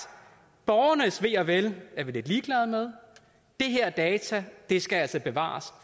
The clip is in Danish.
borgernes ve og vel er vi lidt ligeglade med de her data skal altså bevares